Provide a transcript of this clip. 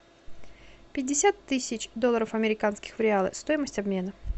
пятьдесят тысяч долларов американских в реалы стоимость обмена